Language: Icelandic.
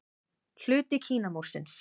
Hluti Kínamúrsins.